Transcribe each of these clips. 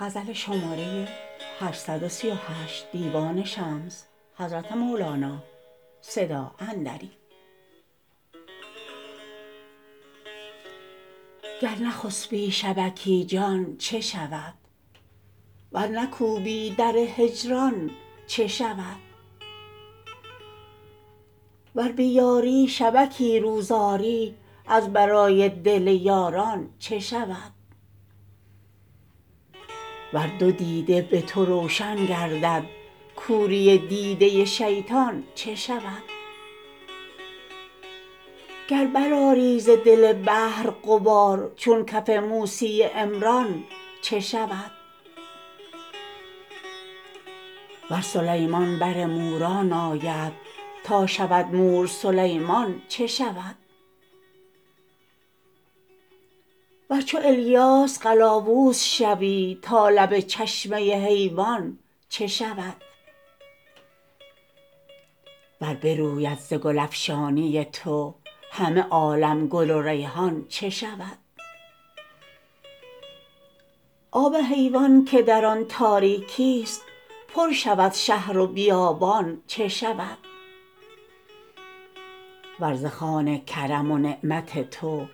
گر نخسپی شبکی جان چه شود ور نکوبی در هجران چه شود ور بیاری شبکی روز آری از برای دل یاران چه شود ور دو دیده به تو روشن گردد کوری دیده شیطان چه شود گر برآری ز دل بحر غبار چون کف موسی عمران چه شود ور سلیمان بر موران آید تا شود مور سلیمان چه شود ور چو الیاس قلاووز شوی تا لب چشمه حیوان چه شود ور بروید ز گل افشانی تو همه عالم گل و ریحان چه شود آب حیوان که در آن تاریکیست پر شود شهر و بیابان چه شود ور ز خوان کرم و نعمت تو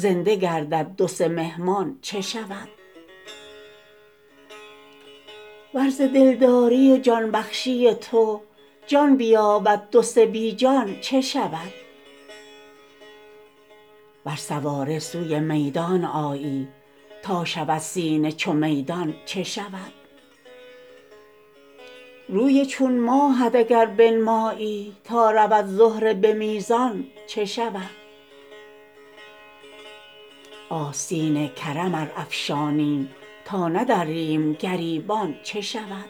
زنده گردد دو سه مهمان چه شود ور ز دلداری و جان بخشی تو جان بیابد دو سه بی جان چه شود ور سواره سوی میدان آیی تا شود سینه چو میدان چه شود روی چون ماهت اگر بنمایی تا رود زهره به میزان چه شود آستین کرم ار افشانی تا ندریم گریبان چه شود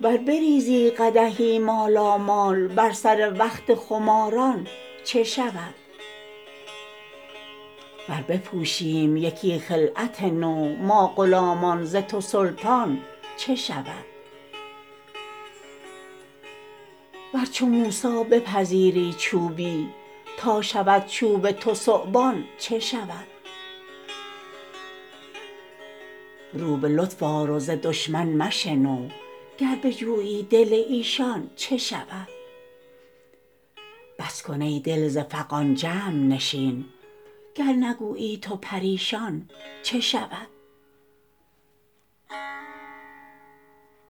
ور بریزی قدحی مالامال بر سر وقت خماران چه شود ور بپوشیم یکی خلعت نو ما غلامان ز تو سلطان چه شود ور چو موسی بپذیری چوبی تا شود چوب تو ثعبان چه شود رو به لطف آر و ز دشمن مشنو گر بجویی دل ایشان چه شود بس کن ای دل ز فغان جمع نشین گر نگویی تو پریشان چه شود